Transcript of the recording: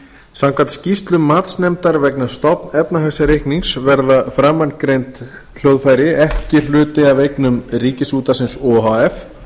samkvæmt skýrslu matsnefndar vegna stofnefnahagsreiknings verða framangreind hljóðfæri ekki hluti af eignum ríkisútvarpsins o h f